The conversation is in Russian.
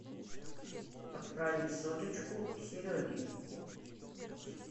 отправить соточку сереге